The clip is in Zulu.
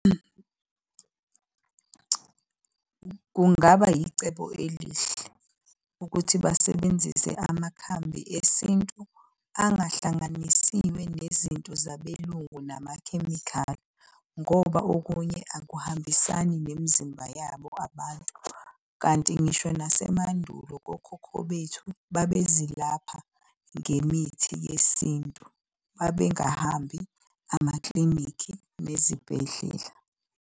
Kungaba icebo elihle ukuthi basebenzise amakhambi esintu angahlanganisiwe nezinto zabelungu namakhemikhali ngoba okunye akuhambisani nemizimba yabo abantu. Kanti ngisho nasemandulo kokhokho bethu babezilapha ngemithi yesintu. Babengahambi amaklinikhi nezibhedlela.